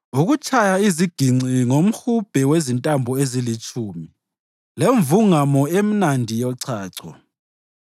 ukutshaya iziginci ngomhubhe wezintambo ezilitshumi lemvungamo emnandi yechacho.